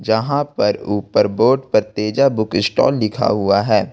यहां पर ऊपर बोर्ड पर तेजा बुक स्टाल लिखा हुआ है।